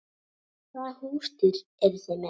Hvaða húsdýr eru þið með?